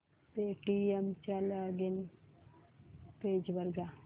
Paytm च्या login page वर जा